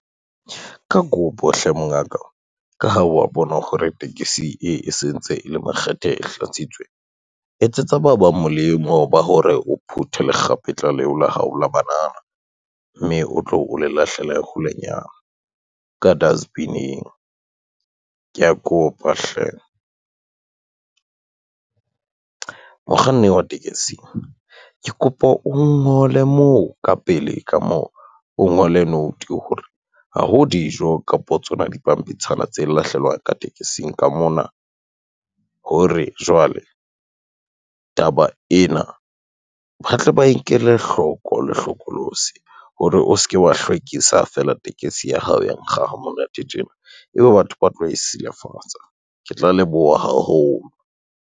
Ka kopo hle mongaka, ka ha wa bona hore tekesi e sentse e le makgethe e hlatsitswe, etsetsa ba bang molemo ba hore o phuthe lekgapetla leo la hao la banana, mme o tlo o le lahlela ya holenyana ka dustbin-ing kea kopa hle. Mokganni wa tekesi ke kopa o ngole moo ka pele ka moo o ngole note hore, ha ho dijo kapo tsona dipampitshana tse lahlelwa ka tekesing ka mona. Hore jwale taba ena, ba tle ba e nkele hloko le hlokolosi hore o se ke wa hlwekisa fela tekesi ya hao ya nkga ha monate tjena, ebe batho ba tlo e silafatsa. Ke tla leboha haholo.